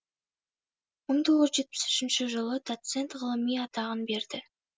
мың тоғыз жүз жетпіс үшінші жылы доцент ғылыми атағын берді